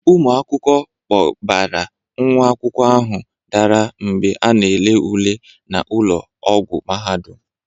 Ụmụ akwụkwọ kpọbara nwa akwụkwọ ahụ dara mgbe a na-ele ule na ụlọ ọgwọ mahadum.